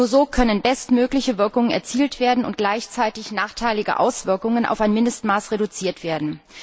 Nur so können bestmögliche Wirkungen erzielt und gleichzeitig nachteilige Auswirkungen auf ein Mindestmaß reduziert werden.